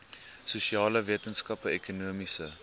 sosiale wetenskappe ekonomiese